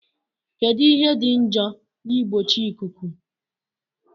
Kedu ihe dị njọ na mgbochieikuu?